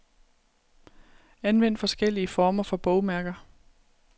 Anvend forskellige former for bogmærker.